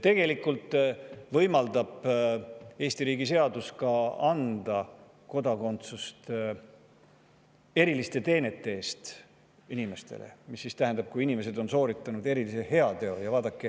Tegelikult võimaldab Eesti riigi seadus anda inimestele kodakondsuse ka eriliste teenete eest, mis tähendab, et inimesed on sooritanud erilise heateo.